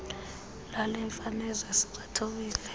lale mfazwe siwathobile